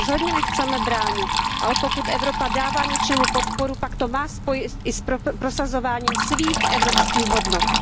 Rozhodně tomu nechceme bránit, ale pokud Evropa dává něčemu podporu, pak to má spojit i s prosazováním svých evropských hodnot.